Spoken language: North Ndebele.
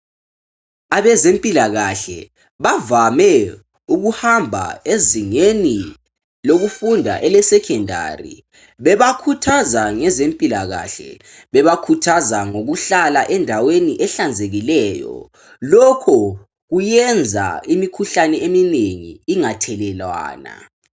Abezempikahle bavame ukuhamba ezingeni lokufunda elesecondary bebakhuthaza ngezempilakahle bebakhuthaza ngokuhlala endaweni ehlanzekileyo lokho kuyenza imikhuhlane eminengi ingathelelwana.